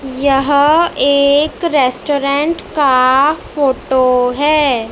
यह एक रेस्टोरेंट का फोटो है।